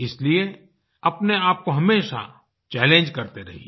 इसलिए अपने आप को हमेशा चैलेंज करते रहिए